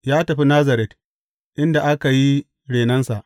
Ya tafi Nazaret, inda aka yi renonsa.